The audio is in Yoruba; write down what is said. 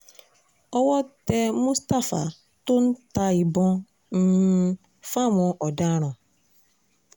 owó tẹ mustapha tó ń ta ìbọn um fáwọn ọ̀daràn